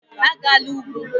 Agala ugwu.